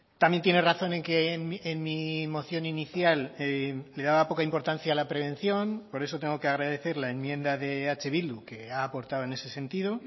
también tiene razón en que en mi moción inicial le daba poca importancia a la prevención por eso tengo que agradecer la enmienda de eh bildu que ha aportado en ese sentido